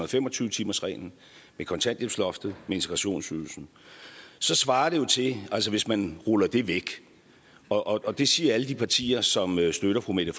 og fem og tyve timersreglen kontanthjælpsloftet og integrationsydelsen svarer det til altså hvis man ruller det væk og og det siger alle de partier som støtter fru mette